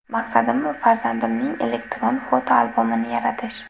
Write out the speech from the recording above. Maqsadim farzandimning elektron fotoalbomini yaratish.